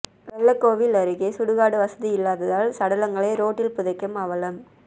வெள்ளக்கோவில் அருகே சுடுகாடு வசதி இல்லாததால் சடலங்களை ரோட்டில் புதைக்கும் அவலம்